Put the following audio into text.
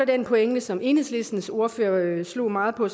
den pointe som enhedslistens ordfører slog meget på